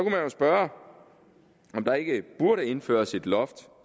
jo spørge om der ikke burde indføres et loft